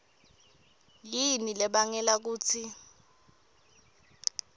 yini lebangela kutsi